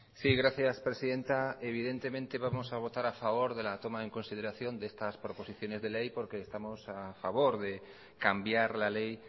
sí gracias presidenta evidentemente vamos a votar a favor de la toma en consideración de estas proposiciones de ley porque estamos a favor de cambiar la ley